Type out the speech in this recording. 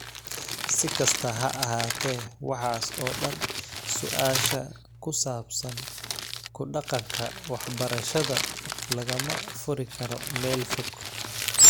Si kastaba ha ahaatee, waxaas oo dhan, su'aasha ku saabsan ku dhaqanka waxbarashada lagama furi karo meel fog.